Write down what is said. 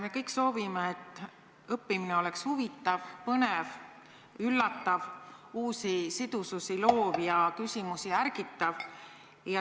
Me kõik soovime, et õppimine oleks huvitav, põnev, üllatav, looks uusi sidususi ja ärgitaks küsimusi esitama.